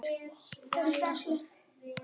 Kjóstu okkur.